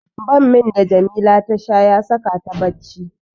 Bammin da Jamila ta sha ya saka ta bacci.